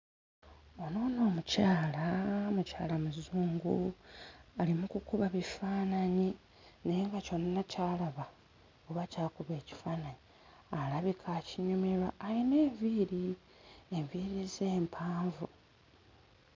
Ono nno omukyala mukyala muzungu ali mu kukuba bifaananyi naye nga kyonna ky'alaba oba ky'akuba ekifaananyi alabika akinyumirwa ayina enviiri enviiiri ze mpanvu.